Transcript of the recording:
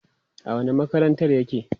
a wani makarantar yake?